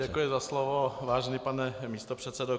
Děkuji za slovo, vážený pane místopředsedo.